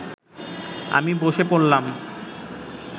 আমি বসে পড়লাম